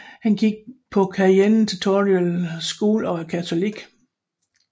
Han gik på Cheyenna Traditional School og er katolik